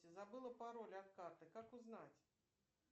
забыла пароль от карты как узнать